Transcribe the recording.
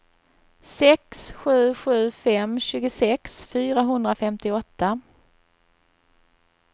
sex sju sju fem tjugosex fyrahundrafemtioåtta